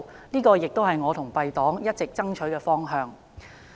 這亦是我與敝黨一直爭取的方向。